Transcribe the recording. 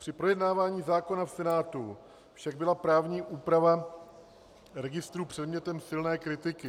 Při projednávání zákona v Senátu však byla právní úprava registru předmětem silné kritiky.